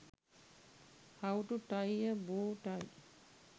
how to tie a bow tie